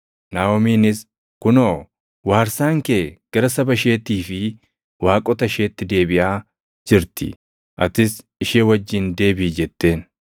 Naaʼomiinis, “Kunoo, waarsaan kee gara saba isheetii fi waaqota isheetti deebiʼaa jirti. Atis ishee wajjin deebiʼi” jetteen.